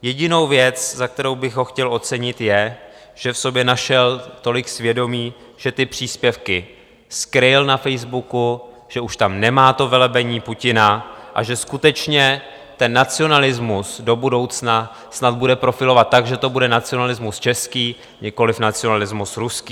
Jedinou věc, za kterou bych ho chtěl ocenit, je, že v sobě našel tolik svědomí, že ty příspěvky skryl na Facebooku, že už tam nemá to velebení Putina a že skutečně ten nacionalismus do budoucna snad bude profilovat tak, že to bude nacionalismus český, nikoliv nacionalismus ruský.